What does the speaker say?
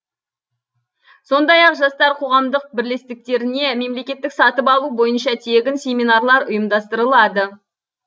сондай ақ жастар қоғамдық бірлестіктеріне мемлекеттік сатып алу бойынша тегін семинарлар ұйымдастырылады